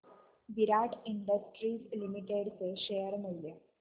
विराट industries limited चे share मूल्य